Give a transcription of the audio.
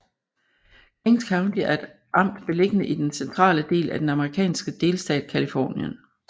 Kings County er et amt beliggende i den centrale del af den amerikanske delstat Californien